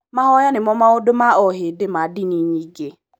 Mahoya nĩmo maũndũ ma ohĩndĩ ma ndini nyingĩ